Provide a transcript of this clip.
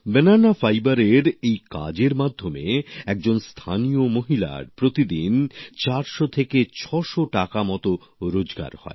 কলা তন্তুর এই কাজের মাধ্যমে একজন স্থানীয় মহিলার প্রতিদিন প্রায় ৪০০ থেকে ৬০০ টাকা মত রোজগার হয়